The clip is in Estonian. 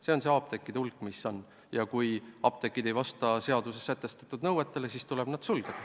See on see apteekide hulk, mis praegu on teada, ja kui apteegid ei vasta seaduses sätestatud nõuetele, siis tuleb nad sulgeda.